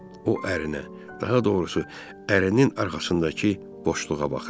O ərinə, daha doğrusu, ərin arxasındakı boşluğa baxırdı.